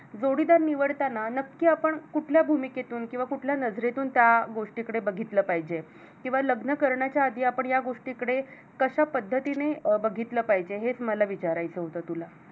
जोडीदार निवडताना नक्की आपण कुठल्या भूमीकेतून किंवा कुठल्या नजरेतून त्या गोष्टी कडे बघितलं पाहिजे किंवा लग्न करण्याच्या आधी आपण या गोष्टी कडे कशा पद्धतीने बघितलं पाहिजे हेच मला विचारायचं होतं तुला